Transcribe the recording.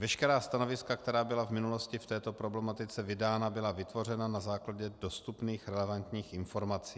Veškerá stanoviska, která byla v minulosti v této problematice vydána, byla vytvořena na základě dostupných relevantních informací.